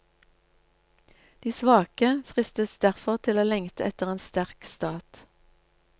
De svake fristes derfor til å lengte etter en sterk stat.